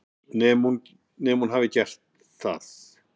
Nema hún hafi gert það.